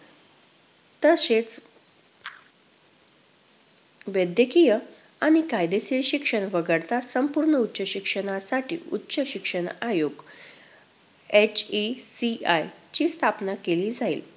तसेच वैद्यकीय आणि कायदेशीर शिक्षण वगळता संपूर्ण उच्च शिक्षणासाठी उच्च शिक्षण आयोग HECI ची स्थापना केली जाईल.